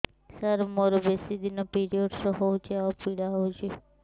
ସାର ମୋର ବେଶୀ ଦିନ ପିରୀଅଡ଼ସ ହଉଚି ଆଉ ପୀଡା ହଉଚି